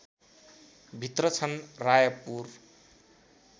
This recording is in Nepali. भित्र छन् रायपुर